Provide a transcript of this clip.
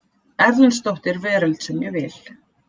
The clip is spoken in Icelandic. Erlendsdóttir Veröld sem ég vil.